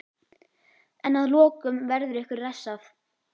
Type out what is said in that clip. En að lokum verður ykkur refsað.